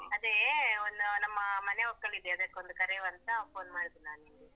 ಅದೇ ಒಂದು ನಮ್ಮ ಮನೆ ಒಕ್ಕಲಿದೆ ಅದಕ್ಕೊಂದು ಕರೆಯುವಂತಾ phone ಮಾಡಿದ್ದು ನಾನ್ ನಿಮ್ಗೆ.